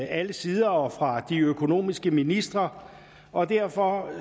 alle sider og fra de økonomiske ministre og derfor